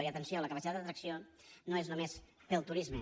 i atenció la capacitat d’atracció no és només pel turisme